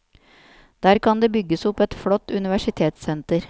Der kan det bygges opp et flott universitetssenter.